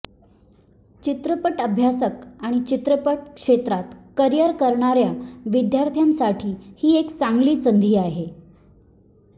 चित्रपट अभ्यासक आणि चित्रपट क्षेत्रात करिअर करणाऱ्या विद्यार्थ्यांसाठी ही एक चांगली संधी आहे